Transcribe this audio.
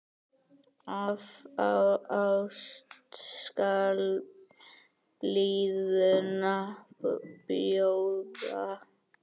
Af ást skal blíðuna bjóða.